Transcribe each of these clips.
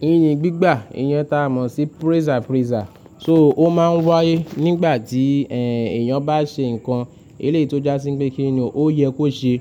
Ìyìn gbígbà, ìyẹn ta mọ̀ sí praise and praise. So ó máa ń wáyé nígbà tí, ẹ́, èèyàn bá ṣe nǹkan eléto jásín pé kí ni ò yẹ kó ṣe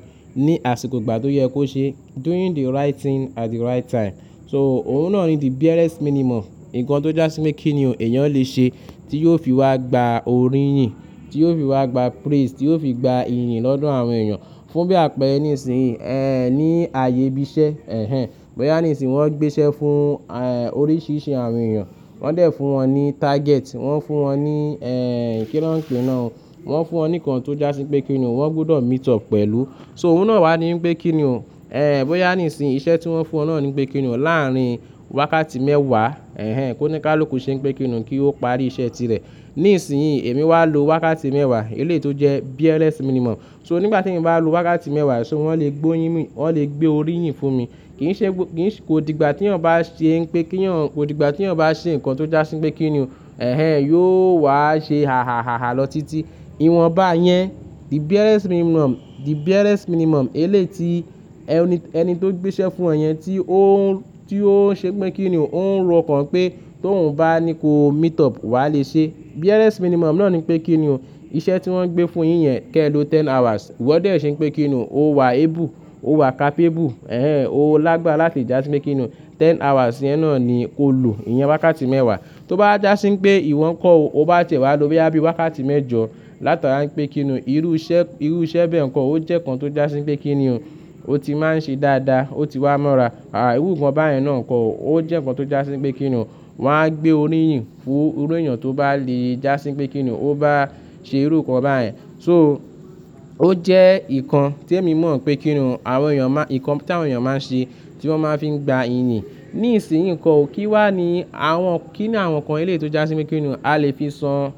ní àsìkò ìgbà tó yẹ kó ṣe. Doing the right thing at the right time. So òun náà ni the barest minimum. Ǹkan tó jásín pé kí ni èèyàn lè ṣe tí yóò fi wá gba orí ìyìn, tí yóò fi wá gba praise, tí yóò fi gba ìyìn lọ́dọ̀ àwọn èèyàn fún bí àpẹ̀rẹ ní ìsìn, ẹ́, ní ààyè ibi iṣẹ́. Ẹ̀hẹn. Bóyá ní ìsìn wọ́n ń gbéṣẹ́ fún, ẹ́, oríṣìíríṣìí àwọn èèyàn. Wọ́n dẹ̀ fún wọn ní target. Wọ́n fún wọn ní, ẹ́, kíran-kíran. Wọ́n fún wọn ní nǹkan tó jásín pé kí ni wọ́n gbọdọ̀ meet up pẹ̀lú. So òun náà wá ní pé kí ni o, ẹ́, bóyá ní ìsìn iṣẹ́ tí wọ́n fún ọ náà ni pé kí ni o láàárin wákàtí mẹ́wàá, ẹ̀hẹn, kó ní ká ló kù ṣé pé kí ni kí ó parí iṣẹ́ tirẹ̀. Nísinsìnyí èmi wá lo wákàtí mẹ́wàá eléto jẹ́ barest minimum. So nígbà tí èmi bá lo wákàtí mẹ́wàá, so wọ́n lè gbé oyín mi, wọ́n lè gbé orí ìyìn fún mi. Kì í ṣe, kì í ṣe kó digba tí èèyàn bá ṣe pé kí èèyàn kó digba tí èèyàn bá ṣe nǹkan tó jásín pé kí ni o, ẹ̀hẹn, yóò wá ṣe àhàhàhà lọ títí. Ìwọ̀n bá yẹn, the barest minimum, the barest minimum eléto ẹni, ẹni tó ń gbéṣẹ́ fún ọ yẹn tí ó ń, tí ó ń ṣe pé kí ni o, ó ń ro ọ̀kan pé tó ń bá ní kó meet up wàá lè ṣe. Barest minimum náà ni pé kí ni o iṣẹ́ tí wọ́n gbé fún yín yẹn keló ten hours. Wọ́n dẹ̀ ṣin pé kí ni o, ó wà able, ó wà capable, ẹ̀hẹn, ó lágbára láti jásín pé kí ni ten hours yẹn náà ni kó lo, ìyẹn wákàtí mẹ́wàá. Tó bá jásín pé ìwọ ń kọ́ ọ, o bá tẹ̀ wá lo bí i wákàtí mẹ́jọ látara pé kí ni o, irú iṣẹ́, irú iṣẹ́ bẹ́ẹ̀ nǹkan ó jẹ́ nkán tó jásín pé kí ni o, ó ti máa ń ṣe dáadáa, ó ti wá mọ́ra. Àí, irú nǹkan báyẹn náà ń kọ́ ọ, ó jẹ́ nǹkan tó jásín pé kí ni o, wọ́n á gbé orí ìyìn fún irú èèyàn tó bá le jásín pé kí ni o, ó bá ṣe irú nǹkan báyẹn. So ó jẹ́ nǹkan tí èmi mọ̀ pé kí ni o àwọn èèyàn máa, nǹkan tí àwọn èèyàn máa ń ṣe tí wọ́n máa fi ń gba ìyìn. Nísinsìnyí nǹkan òkìwá ni àwọn kí ni àwọn nǹkan eléto jásín pé kí ni o, a lè fi san,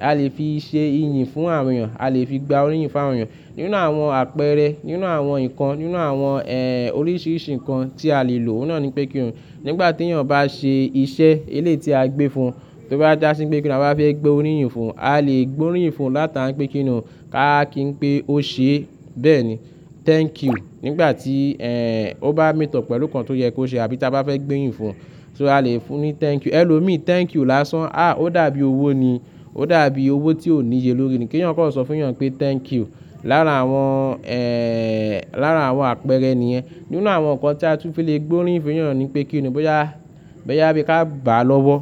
a lè fi ṣe ìyìn fún àwọn èèyàn, a lè fi gba orí ìyìn fún àwọn èèyàn. Nínú àwọn àpẹẹrẹ, nínú àwọn nǹkan, nínú àwọn, ẹ́, oríṣìíríṣìí nǹkan tí a lè lò, òun náà ni pé kí ni o. Nígbà tí èèyàn bá ṣe iṣẹ́ eléto a gbé fun, tó bá jásín pé kí ni a bá fẹ́ gbé orí ìyìn fún, a lè gbé orí ìyìn fún látara pé kí ni o káàkín pé ó ṣe bẹ́ẹ̀ ni. Thank you. Nígbà tí, ẹ́, ó bá meet up pẹ̀lú nǹkan tó yẹ kó ṣe àbí tí a bá fẹ́ gbé oyín fún, so a lè fún ní thank you. Hello me thank you lásán. À, ó dàbí owó ni. Ó dàbí owó tí ò níye lórí ni. Kí èèyàn kọ́ sọ fún èèyàn pé thank you. Lára àwọn, ẹ́, lára àwọn àpẹẹrẹ nìyẹn. Nínú àwọn nǹkan tí a tún lè fi gbé orí ìyìn fún èèyàn ni pé kí ni o bóyá, bóyá bí i ká bàá lọ́wọ́.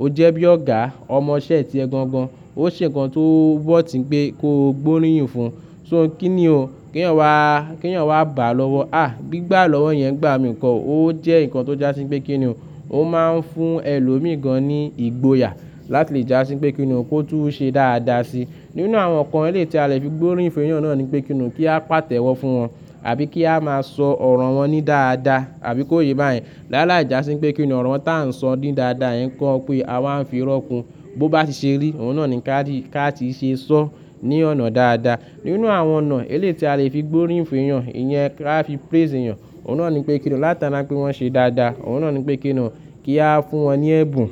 Ó jẹ́ bí ọ̀gá, ọmọṣẹ́ tí ẹ gangan. Ó ṣe nǹkan tó worth n pé kó gbé orí ìyìn fún. So kí ni o, kí èèyàn wá, kí èèyàn wá bàá lọ́wọ́. À, gbígbà lọ́wọ́ yẹn gbà mí nǹkan, ó jẹ́ nǹkan tó jásín pé kí ni o, ó máa ń fún ẹlo mii gan-an ní ìgboyà láti jásín pé kí ni o kó tún ṣe dáadáa si. Nínú àwọn nǹkan eléto a lè fi gbé orí ìyìn fún èèyàn náà ni pé kí ni o kí a pàtẹ́wọ́ fún wọn àbí kí a máa sọ ọ̀rọ̀ wọn ní dáadáa àbí kó yé bá yẹn. Lára ìjàsín pé kí ni ọ̀rọ̀ tá ń sọ ní dáadáa yẹn kọ pé a wá ń fi rọ́kun bó bá ti ṣe rí. Òun náà ni ká ti, ká ti ṣe sọ ní ọ̀nà dáadáa. Nínú àwọn ọ̀nà eléto a lè fi gbé orí ìyìn fún èèyàn, ìyẹn ká fi praise èèyàn. Òun náà ni pé kí ni o látara pé wọ́n ṣe dáadáa. Òun náà ni pé kí ni o kí a fún wọn ní ẹ̀bùn.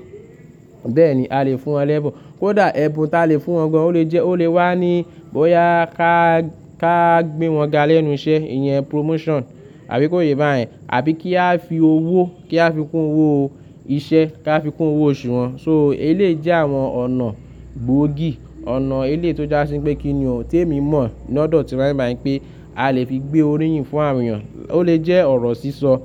Bẹ́ẹ̀ ni a lè fún wọn lẹ́ẹ̀bùn. Ó dàẹ̀ ẹ̀bùn ta lè fún wọn gan-an ó lè jẹ́, ó lè wá ní bóyá ká, ká gbé wọn ga lẹ́nu iṣẹ́, ìyẹn promotion, àbí kó yé bá yẹn. Àbí kí á fi owó, kí á fi kún owó iṣẹ́, kí á fi kún owó oṣù wọn. So elé jẹ́ àwọn ọ̀nà gbòógì, ọ̀nà eléto jásín pé kí ni o tí èmi mọ̀ lọ́dọ̀ tiram baìyìn pé a lè fi gbé orí ìyìn fún àwọn èèyàn. Ó lè jẹ́ ọ̀rọ̀ sísọ,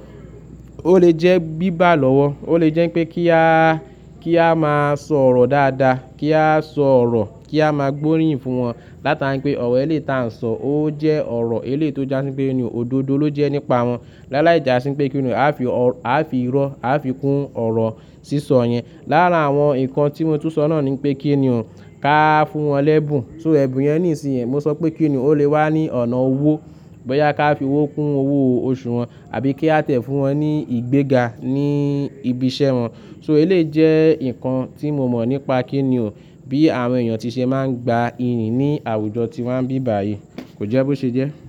ó lè jẹ́ gbígbà lọ́wọ́, ó lè jẹ́ pé kí a, kí a máa sọ ọ̀rọ̀ dáadáa, kí a sọ ọ̀rọ̀ kí a máa gbé orí ìyìn fún wọn látara pé ọ̀rọ̀ eléto a ń sọ ó jẹ́ ọ̀rọ̀ eléto jásín pé kí ni o, òdodo ló jẹ́ nípa wọn. Lára ìjàsín pé kí ni o a fi ọ̀rọ̀, a fi ìrọ́, a fi kún ọ̀rọ̀ sísọ yẹn. Lára àwọn nǹkan tí mo tún sọ náà ni pé kí ni o ká fún wọn lẹ́ẹ̀bùn. So ẹ̀bùn yẹn níìsín yẹn, mo sọ pé kí ni o ó lè wá ní ọ̀nà owó. Bóyá ká fi owó kún owó oṣù wọn àbí kí a tẹ̀ fún wọn ní ìgbéga ní ibi iṣẹ́ wọn. So elé jẹ́ nǹkan tí mo mọ̀ nípa kí ni o bí àwọn èèyàn ti ṣe máa ń gba ìyìn ní àwùjọ tí wọ́n bí báyìí. Kò jẹ́ bó ṣe jẹ́?